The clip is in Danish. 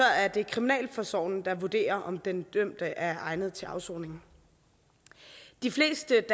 er det kriminalforsorgen der vurderer om den dømte er egnet til afsoning de fleste